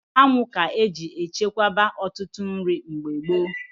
Anwụ ga-eji echekwaba ọtụtụ nri mgbe gboo.